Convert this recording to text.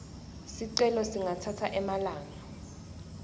sicelo singatsatsa emalanga